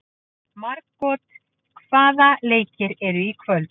Margot, hvaða leikir eru í kvöld?